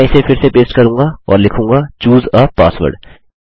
मैं इसे फिर से पेस्ट करूँगा और लिखूँगा चूसे आ पासवर्ड